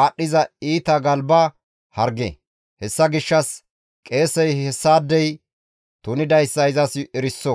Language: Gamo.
aadhdhiza iita galba harge; hessa gishshas qeesey hessaadey tunidayssa izas eriso.